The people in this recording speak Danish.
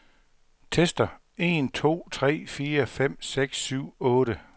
Tester en to tre fire fem seks syv otte.